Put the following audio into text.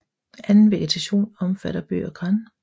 Anden vegetation omfatter bøg og gran